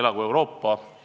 Elagu Euroopa!